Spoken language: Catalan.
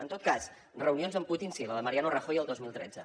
en tot cas reunions amb putin sí la de mariano rajoy el dos mil tretze